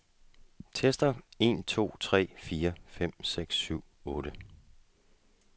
Tester en to tre fire fem seks syv otte.